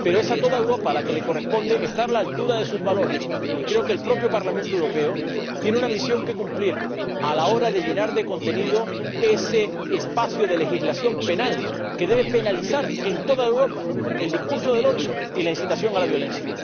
Pero es a toda Europa a la que le corresponde estar a la altura de sus valores, y creo que el propio Parlamento Europeo tiene una misión que cumplir a la hora de llenar de contenido ese espacio de legislación penal que debe penalizar en toda Europa el discurso del odio y la incitación a la violencia.